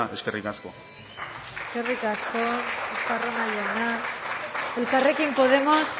eskerri asko eskerrik asko estarrona jauna elkarrekin podemos